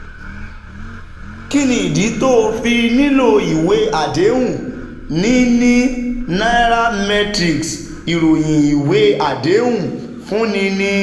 Kí nìdí tó o fi nílò ìwé àdéhùn: Níní Nairametrics Ìròyìn ìwé àdéhùn ń fúnni ní